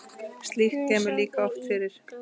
Slíkt kemur líka oft fyrir.